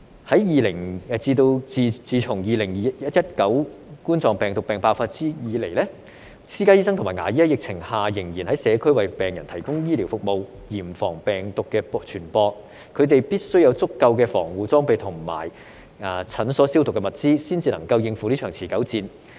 自從2019冠狀病毒病爆發以來，私家醫生和牙醫在疫情下仍然在社區為病人提供醫療服務，嚴防病毒的傳播，他們必須有足夠的防護裝備和診所消毒的物資，才能應付這一場持久戰。